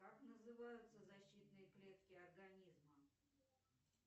как называются защитные клетки организма